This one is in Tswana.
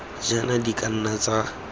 jaana di ka nna tsa